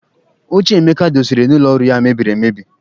Oche Emeka dọsara n'ụlọ ọrụ ya mebiri emebi.